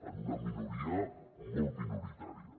en una minoria molt minoritària